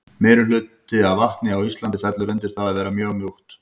Meirihluti af vatni á Íslandi fellur undir það að vera mjög mjúkt.